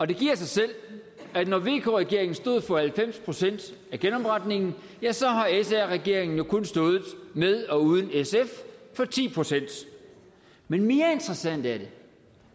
det giver sig selv at når vk regeringen stod for halvfems procent af genopretningen ja så har sr regeringen jo kun stået med og uden sf for ti procent men mere interessant er det